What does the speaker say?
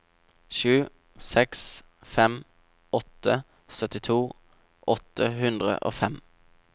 sju seks fem åtte syttito åtte hundre og fem